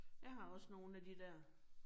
Jeg har også nogle af de dér